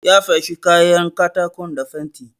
Ya feshe kayan katakon da fenti.